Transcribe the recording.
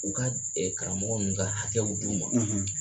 U ka karamɔgɔ ninnu ka hakɛw d'u ma